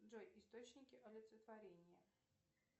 джой источники олицетворения